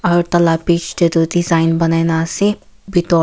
aru tala bich te toh design banaina ase bitor.